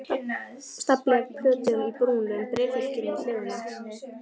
Stafli af plötum í brúnum bréfhylkjum við hliðina.